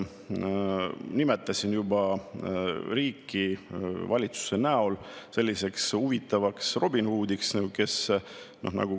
Ma nimetasin juba riiki valitsuse näol selliseks huvitavaks Robin Hoodiks.